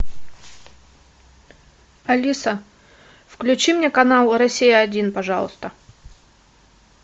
алиса включи мне канал россия один пожалуйста